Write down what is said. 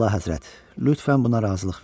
Əlahəzrət, lütfən buna razılıq verin.